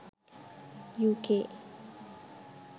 uk